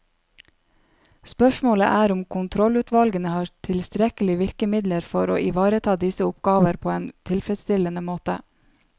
Spørsmålet er om kontrollutvalgene har tilstrekkelige virkemidler for å ivareta disse oppgaver på en tilfredsstillende måte.